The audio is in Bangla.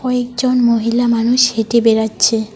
একজন মহিলা মানুষ হেঁটে বেড়াচ্ছে